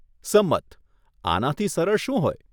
સંમત. આનાથી સરળ શું હોય?